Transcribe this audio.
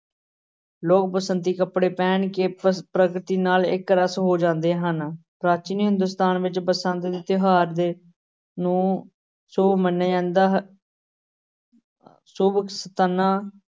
ਲੋਕ ਬਸੰਤੀ ਕੱਪੜੇ ਪਹਿਨ ਕੇ ਪਰ~ ਪ੍ਰਕਿਰਤੀ ਨਾਲ ਇਕ ਰਸ ਹੋ ਜਾਂਦੇ ਹਨ ਪ੍ਰਾਚੀਨ ਹਿੰਦੁਸਤਾਨ ਵਿਚ ਬਸੰਤ ਦੇ ਤਿਉਹਾਰ ਦੇ ਨੂੰ ਸੁੱਭ ਮੰਨਿਆ ਜਾਂਦਾ ਹੈ ਸੁਵ ਸੰਤਨਾ